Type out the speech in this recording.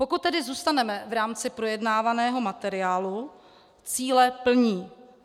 Pokud tedy zůstaneme v rámci projednávaného materiálu, cíle plní.